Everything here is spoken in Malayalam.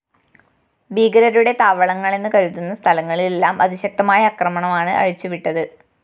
ഭീകരരുടെ താവളങ്ങളെന്ന് കരുതുന്ന സ്ഥലങ്ങളിലെല്ലാം അതിശക്തമായ ആക്രമണമാണ് അഴിച്ചുവിട്ടത്